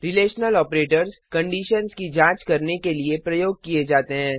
relational operators conditions की जांच करने के लिए प्रयोग किए जाते हैं